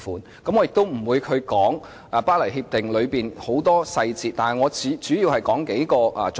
我並不打算詳述《協定》的眾多細節，我主要想提出幾個重點。